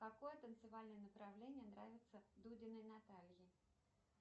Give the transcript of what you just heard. какое танцевальное направление нравится дудиной наталье